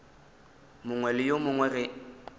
mongwe le yo mongwe ge